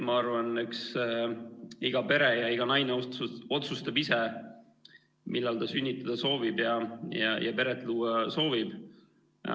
Ma arvan, eks iga pere ja iga naine otsustab ise, millal ta sünnitada soovib ja peret luua soovib.